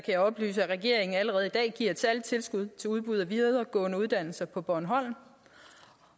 jeg oplyse at regeringen allerede i dag giver et særligt tilskud til udbuddet af videregående uddannelser på bornholm